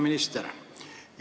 Hea minister!